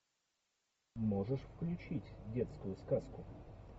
можешь включить детскую сказку